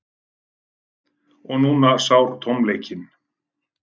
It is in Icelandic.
Og núna sár tómleikinn.